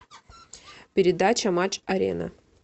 передача матч арена